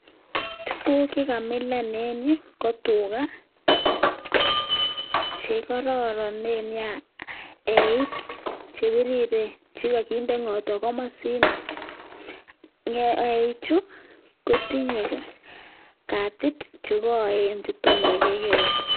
Tuguk che kamilan en yu ko tuga che kororonen nyaa. Eik che biriren che koginde ng'otwa komosino. Eichu ko tinye katuswek che koen che tom kai kegeere.